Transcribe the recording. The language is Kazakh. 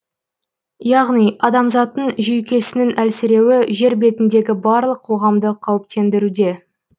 яғни адамзаттың жүйкесінің әлсіреуі жер бетіндегі барлық қоғамды қауіптендіруде